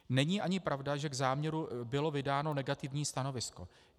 Není ani pravda, že k záměru bylo vydáno negativní stanovisko.